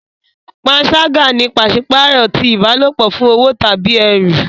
Panṣaga ni paṣipaarọ ti ìbálòpọ̀ fún owo tàbí ẹrú.